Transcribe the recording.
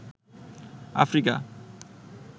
Africa